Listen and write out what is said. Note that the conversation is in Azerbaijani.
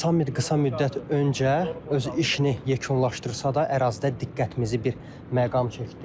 Sammit qısa müddət öncə öz işini yekunlaşdırsa da, ərazidə diqqətimizi bir məqam çəkdi.